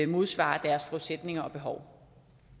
modsvarer deres forudsætninger og behov